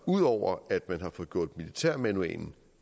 ud over at militærmanualen